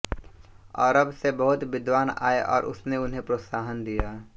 अरब से बहुत विद्वान् आए और उसने उन्हें प्रोत्साहन दिया